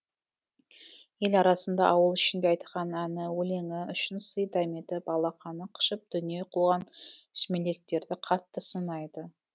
ел арасында ауыл ішінде айтқан әні өлеңі үшін сый дәметіп алақаны қышып дүние қуған сүмелектерді қатты сынайды